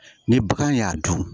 Ni bagan y'a dun